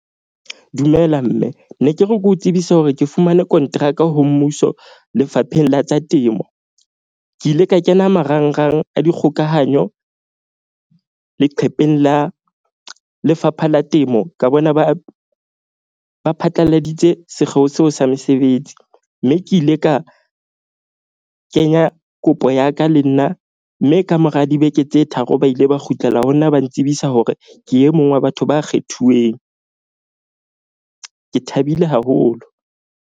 Dumela mme ne ke re ke o tsebise hore ke fumane konteraka ho mmuso. Lefapheng la tsa Temo. Ke ile ka kena marangrang a dikgokahanyo leqhepeng la Lefapha la Temo ka bona ba phatlaladitse sekgeo seo sa mesebetsi. Mme ke ile ka kenya kopo ya ka le nna, mme ka mora dibeke tse tharo, ba ile ba kgutlela ho nna ba ntsibisa hore ke e mong wa batho ba kgethuweng, ke thabile haholo.